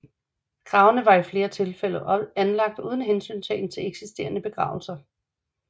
Gravene var i flere tilfælde anlagt uden hensyntagen til eksisterende begravelser